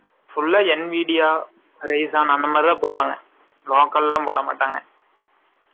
full ஆ N media , raison அந்த மாதிரிதான் போடுவாங்க. Local எல்லாம் போட மாட்டாங்க. ஓ. நல்லாதான் போடுவாரு